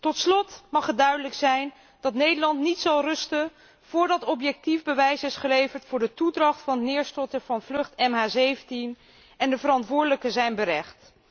Tot slot mag het duidelijk zijn dat Nederland niet zal rusten voordat objectief bewijs is geleverd voor de toedracht van het neerstorten van vlucht MH17 en de verantwoordelijken zijn berecht.